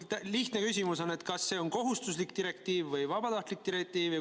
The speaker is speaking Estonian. Lihtne küsimus on: kas see on kohustuslik direktiiv või vabatahtlik direktiiv?